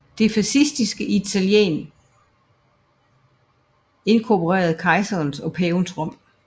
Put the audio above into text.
Det fascistiske Italien inkorporerede kejsernes og pavernes Rom